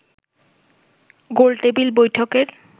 গোলটেবিল বৈঠকের